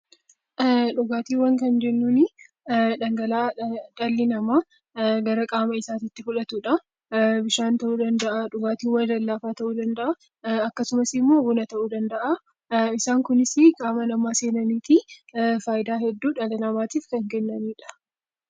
Dhugaatiiwwan kan jennuun dhangala'aa dhalli namaa gara qaama isaatti fudhatudha. Bishaan, dhugaatiiwwan lallaafaa, buna ta'uu danda'a. Isaan Kunis immoo qaama namaa seenanii fayidaa hedduu qaama namaatiif kan kennanidha